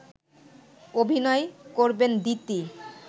অভিনয় করবেন দিতি